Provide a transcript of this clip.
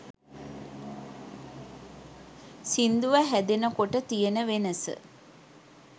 සිංදුව හැදෙන කොට තියෙන වෙනස